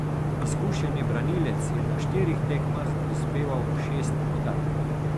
Izkušeni branilec je na štirih tekmah prispeval šest podaj.